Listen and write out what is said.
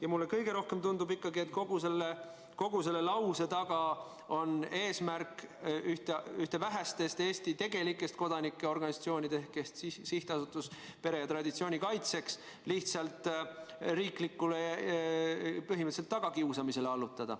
Ja mulle kõige rohkem tundub ikkagi, et kogu selle lause taga on eesmärk ühte vähestest Eesti tegelikest kodanikuorganisatsioonidest ehk Sihtasutust Pere ja Traditsiooni Kaitseks lihtsalt põhimõtteliselt riigi tagakiusamisele allutada.